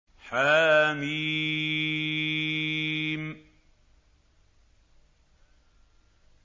حم